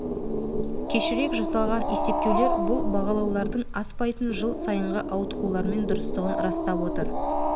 кешірек жасалған есептеулер бұл бағалаулардың аспайтын жыл сайынғы ауытқулармен дұрыстығын растап отыр